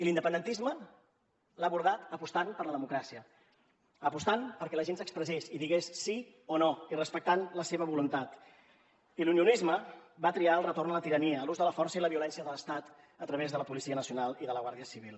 l’independentisme l’ha abordat apostant per la democràcia apostant perquè la gent s’expressés i digués sí o no i respectant la seva voluntat i l’unionisme va triar el retorn a la tirania a l’ús de la força i la violència de l’estat a través de la policia nacional i de la guàrdia civil